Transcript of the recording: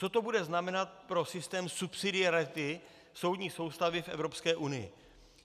Co to bude znamenat pro systém subsidiarity soudní soustavy v Evropské unii.